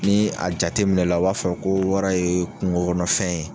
Ni a jateminɛ na, o b'a fɔ ko wara ye kungo kɔnɔ fɛn ye.